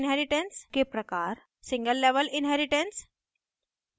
inheritance के प्रकार single level inheritance